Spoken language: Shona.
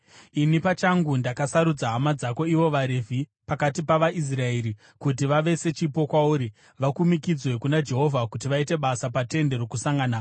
Ini pachangu ndakasarudza hama dzako ivo vaRevhi pakati pavaIsraeri kuti vave sechipo kwauri, vakumikidzwe kuna Jehovha kuti vaite basa paTende Rokusangana.